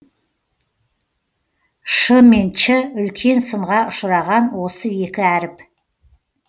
ш мен ч үлкен сынға ұшыраған осы екі әріп